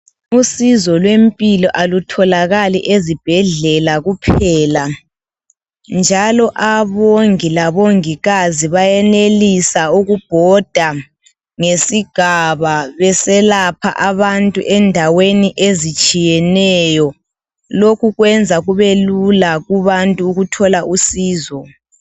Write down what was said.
usizo lwempilo alutholakali ezibhedlela kuphela njalo abongi labongikazi bayenelisa ukubhoda ngesigaba beselapha abantu endaweni ezitshiyeneyo lokhu kwenza kubelula kubantu ukuthola usizo